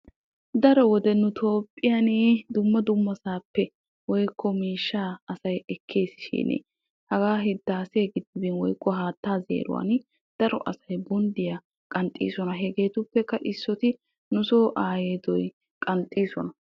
Daro wode nu Toophphiyan dumma dummasaappe woykko miishshaa asay ekkeesi shin hagaa hiddaasiya giddibiya woykko haattaa zeeruwaani daro asay bonddiyaa qanxxiisona. Hegeetuppekka issoti nu soo aayeedoy qanxxiisona.